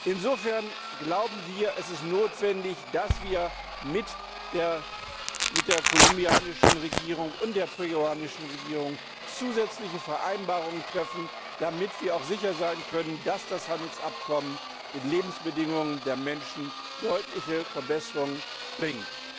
Insofern, glauben wir, ist es notwendig, dass wir mit der kolumbianischen Regierung und der peruanischen Regierung zusätzliche Vereinbarungen treffen, damit wir auch sicher sein können, dass das Handelsabkommen den Lebensbedingungen der Menschen deutliche Verbesserungen bringt.